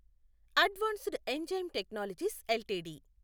advanced enzyme technologies LTD